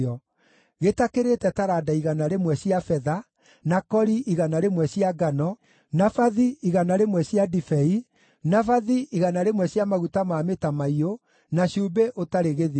gĩtakĩrĩte taranda igana rĩmwe cia betha, na kori igana rĩmwe cia ngano, na bathi igana rĩmwe cia ndibei, na bathi igana rĩmwe cia maguta ma mĩtamaiyũ, na cumbĩ ũtarĩ gĩthimi.